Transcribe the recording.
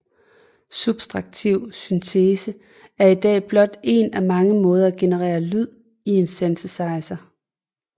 Subtraktiv syntese er i dag blot en af mange måder at genere lyd i en synthesizer